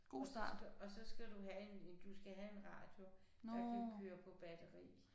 Og så og så skal du have en en du skal have en radio der kan køre på batteri